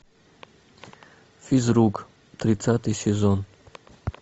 физрук тридцатый сезон